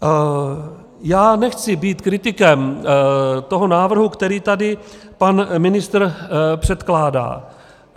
Já nechci být kritikem toho návrhu, který tady pan ministr předkládá.